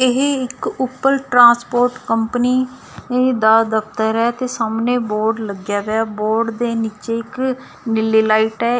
ਇਹ ਇੱਕ ਉੱਪਰ ਟਰਾਂਸਪੋਰਟ ਕੰਪਨੀ ਦਾ ਦਫਤਰ ਹੈ ਤੇ ਸਾਹਮਣੇ ਬੋਰਡ ਲੱਗਿਆ ਦਾ ਬੋਰਡ ਦੇ ਨੀਚੇ ਇੱਕ ਨੀਲੀ ਲਾਈਟ ਹੈ।